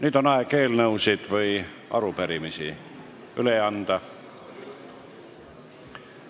Nüüd on aeg eelnõusid või arupärimisi üle anda.